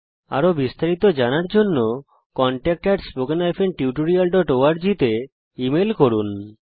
আরো বিস্তারিত জানার জন্য contactspoken tutorialorg তে লিখুন